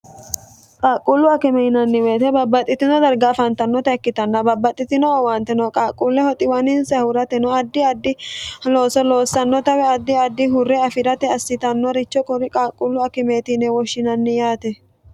qaaqquullu akime yinanni woyite babbaxxitino darga afantannota ikkitanna babbaxxitino owaante no qaaqquulleho xiwaninsa hurateno addi addi loosso loossota addi addi hurre afi'rate assitannoricho kori qaaqquullu akimeeti yinne woshshinanni yaate